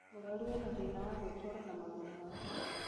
Mũrwaru ena thĩna wa gwĩtwara na magũrũ make